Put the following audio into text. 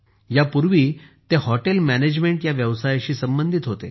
यापूर्वी ते hotel management या व्यवसायाशी संबंधित होते